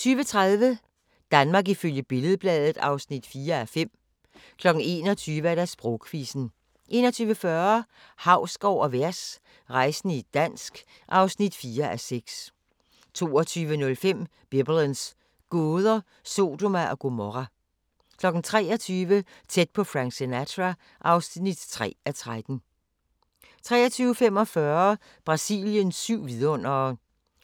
20:30: Danmark ifølge Billed-Bladet (4:5) 21:00: Sprogquizzen 21:40: Hausgaard & Vers – rejsende i dansk (4:6) 22:05: Biblens gåder – Sodoma og Gomorra 23:00: Tæt på Frank Sinatra (3:13) 23:45: Brasiliens syv vidundere